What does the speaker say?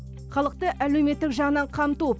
халықты әлеуметтік жағынан қамту